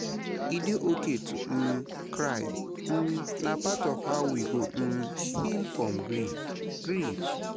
E dey okay to um cry; um na part of how we go um heal from grief. grief.